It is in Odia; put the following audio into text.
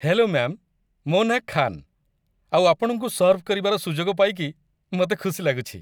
ହ୍ୟାଲୋ ମ୍ୟାମ୍, ମୋ ନାଁ ଖାନ୍, ଆଉ ଆପଣଙ୍କୁ ସର୍ଭ କରିବାର ସୁଯୋଗ ପାଇକି ମତେ ଖୁସି ଲାଗୁଛି ।